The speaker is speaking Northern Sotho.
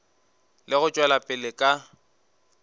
le go tšwela pele ka